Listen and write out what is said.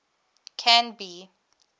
canby